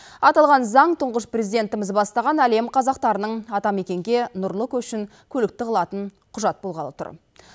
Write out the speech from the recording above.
аталған заң тұңғыш президентіміз бастаған әлем қазақтарының атамекенге нұрлы көшін көлікті қылатын құжат болғалы тұр